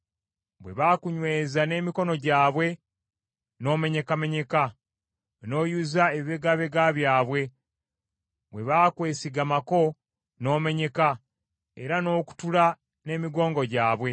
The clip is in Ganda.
Bwe bakunyweza n’emikono gyabwe, n’omenyekamenyeka, n’oyuza ebibegabega byabwe; bwe baakwesigamako, n’omenyeka, era n’okutula n’emigongo gyabwe.